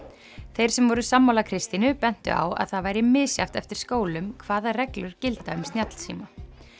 þeir sem voru sammála Kristínu bentu á að það væri misjafnt eftir skólum hvaða reglur gilda um snjallsíma